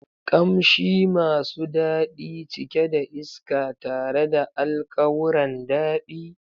Kamshi masu dadi, cike da iska tare da alkawuran dadi.